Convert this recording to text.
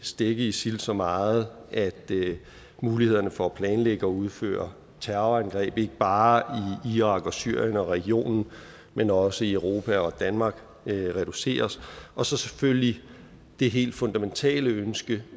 stække isil så meget at mulighederne for at planlægge og udføre terrorangreb ikke bare i irak og syrien og regionen men også i europa og danmark reduceres og så selvfølgelig det helt fundamentale ønske